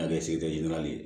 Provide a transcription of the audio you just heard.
An bɛɛ